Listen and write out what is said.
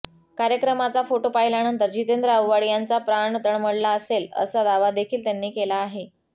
कार्यक्रमाचा फोटो पाहिल्यानंतर जितेंद्र आव्हाड यांचा प्राण तळमळला असेलअसा दावा देखील त्यांनी केला आहे